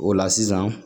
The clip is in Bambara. O la sisan